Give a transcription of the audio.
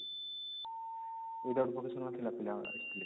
without vocational ଥୀଲା ପିଲା ଆସିଥିଲେ